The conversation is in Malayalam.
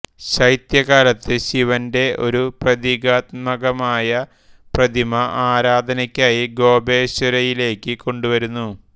ശൈത്യകാലത്ത് ശിവന്റെ ഒരു പ്രതീകാത്മകമായ പ്രതിമ ആരാധനക്കായി ഗോപേശ്വരയിലേക്ക് കൊണ്ടുവരുന്നു